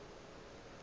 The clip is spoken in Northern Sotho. ka ge a ile a